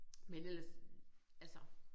Men ellers altså